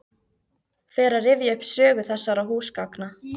Fer að rifja upp sögu þessara húsgagna.